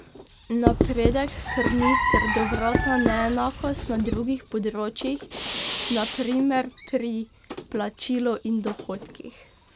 Napredek krni trdovratna neenakost na drugih področjih, na primer pri plačilu in dohodkih.